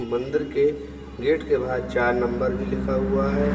मंदिर के गेट के बाहर चार नंबर भी लिखा हुआ है।